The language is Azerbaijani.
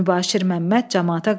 Mübaşir Məmməd camaata qışqırdı.